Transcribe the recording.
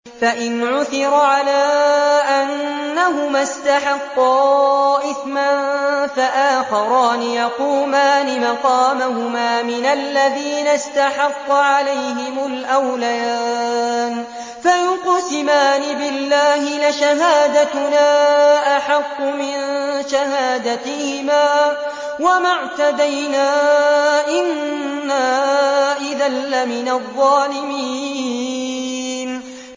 فَإِنْ عُثِرَ عَلَىٰ أَنَّهُمَا اسْتَحَقَّا إِثْمًا فَآخَرَانِ يَقُومَانِ مَقَامَهُمَا مِنَ الَّذِينَ اسْتَحَقَّ عَلَيْهِمُ الْأَوْلَيَانِ فَيُقْسِمَانِ بِاللَّهِ لَشَهَادَتُنَا أَحَقُّ مِن شَهَادَتِهِمَا وَمَا اعْتَدَيْنَا إِنَّا إِذًا لَّمِنَ الظَّالِمِينَ